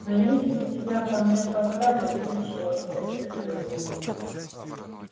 но если тебя ко мне поставят ничего потерплю